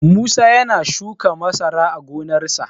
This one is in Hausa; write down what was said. Musa ya na shuka masara a gonarsa.